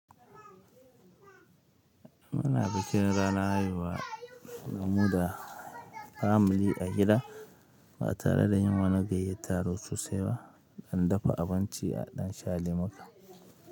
Muna bikin ranar haihuwa damu da family a gida ba tare da yin wani gayyatarwa sosai ba, aɗan dafa abinci a ɗan sha Lemuka.